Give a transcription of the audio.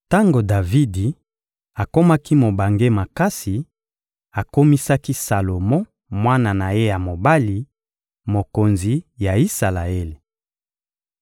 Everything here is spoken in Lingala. Tango Davidi akomaki mobange makasi, akomisaki Salomo, mwana na ye ya mobali, mokonzi ya Isalaele.